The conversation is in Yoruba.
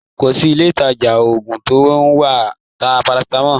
Kò sí ilé-ìtàjà oògùn tó ń ta paracetamol.